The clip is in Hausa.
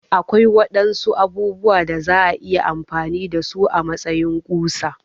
Akwai waɗansu abubuwa da za'a iya amfani da su a matsayin ƙusa